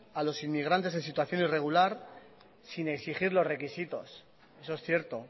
a los inmigrantes en situación irregular sin exigir los requisitos eso es cierto